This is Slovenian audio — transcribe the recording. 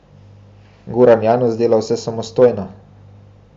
Goran Janus dela vse samostojno.